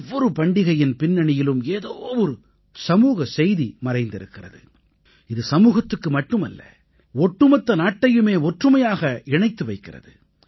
ஒவ்வொரு பண்டிகையின் பின்னணியிலும் ஏதோவொரு சமூக செய்தி மறைந்திருக்கிறது இது சமூகத்துக்கு மட்டுமல்ல ஒட்டுமொத்த நாட்டையுமே ஒற்றுமையாக இணைத்து வைக்கிறது